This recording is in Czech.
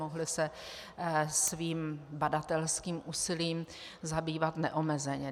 Mohli se svým badatelským úsilím zabývat neomezeně.